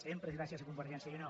sempre és gràcies a convergència i unió